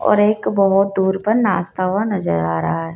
और एक बहुत दूर पर नाचता हुआ नजर आ रहा है।